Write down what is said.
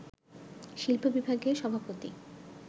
শিল্প-বিভাগের সভাপতি